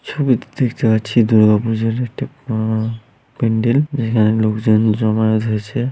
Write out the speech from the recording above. ছবি টিতে দেখতে পাচ্ছি দূর্গা পূজার একটা পা-আ প্যান্ডেল। যেখানে লোক জন জামায়াত হয়েছে।